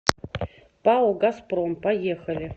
пао газпром поехали